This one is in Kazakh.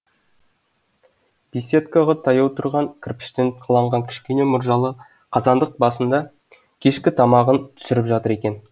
беседкаға таяу тұрған кірпіштен қаланған кішкене мұржалы қазандық басында кешкі тамағын түсіріп жатыр екен